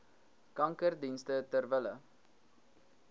kankerdienste ter wille